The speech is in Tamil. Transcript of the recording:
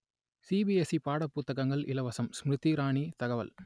சிபிஎஸ்இ பாடப் புத்தகங்கள் இலவசம் ஸ்மிருதி இராணி தகவல்